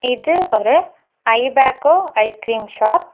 இது ஒரு Ibaco ice cream shop .